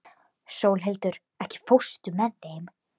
Sólhildur, ekki fórstu með þeim?